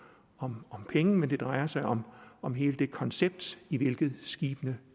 om penge men det drejer sig om om hele det koncept i hvilket skibene